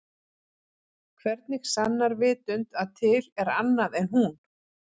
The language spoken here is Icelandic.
Hvernig sannar vitund að til er annað en hún?